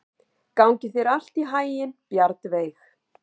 Gangi þér allt í haginn, Bjarnveig.